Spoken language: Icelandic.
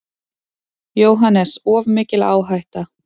JÓHANNES: Of mikil áhætta.